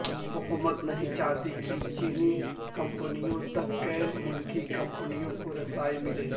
حکومت نہیں چاہتی کہ چینی کمپنیوں تک غیر ملکی کمپنیوں کو رسائی ملے